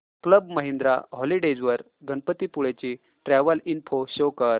club Mahindra holidays वर गणपतीपुळे ची travel info show कर